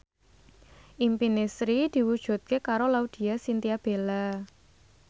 impine Sri diwujudke karo Laudya Chintya Bella